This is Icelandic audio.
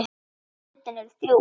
Götin eru þrjú.